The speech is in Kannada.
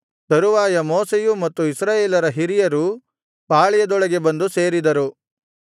ತರುವಾಯ ಮೋಶೆಯೂ ಮತ್ತು ಇಸ್ರಾಯೇಲರ ಹಿರಿಯರೂ ಪಾಳೆಯದೊಳಗೆ ಬಂದು ಸೇರಿದರು